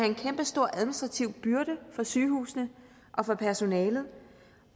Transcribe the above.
en kæmpestor administrativ byrde for sygehusene og for personalet